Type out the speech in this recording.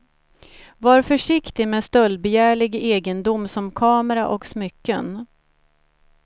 Var försiktig med stöldbegärlig egendom som kamera och smycken.